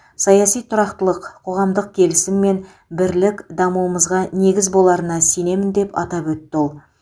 саяси тұрақтылық қоғамдық келісім мен бірлік дамуымызға негіз боларына сенемін деп атап өтті ол